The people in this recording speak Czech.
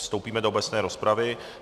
Vstoupíme do obecné rozpravy.